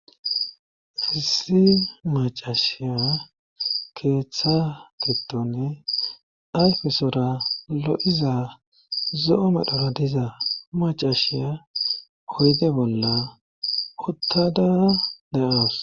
fisi macashiya keeththa kitonne ayfesora lo7iza zo7o medhora diza macashiya oyde bolla uttada de7oos